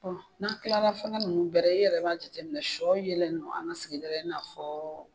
Ɔ n'an kilala fɛngɛ nunnu bɛɛ ra i yɛrɛ b'a jateminɛ sɔ yelen don an ka sigida la i n'a fɔɔ